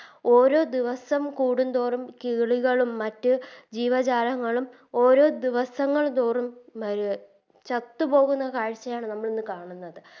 ഓരോ ദിവസം കൂടും തോറും കിളികളും മറ്റ് ജീവജാലങ്ങളും ഓരോ ദിവസങ്ങൾ തോറും ചത്ത് പൊങ്ങുന്ന കാഴ്ചയാണ് നമ്മളിന്ന് കാണുന്നത്